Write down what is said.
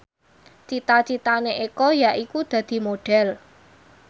cita citane Eko yaiku dadi Modhel